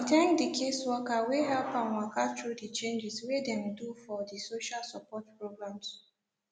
e thank di caseworker wey help am waka through di changes wey dem do for di social support programs